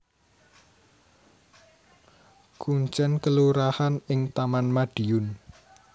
Kuncèn kelurahan ing Taman Madiun